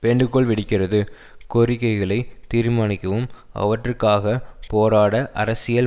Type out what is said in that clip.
வேண்டுகோள் விடுக்கிறது கோரிக்கைகளை தீர்மானிக்கவும் அவற்றுக்காகப் போராட அரசியல்